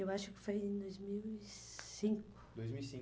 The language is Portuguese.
Eu acho que foi em dois mil e cinco. Dois mil e cinco.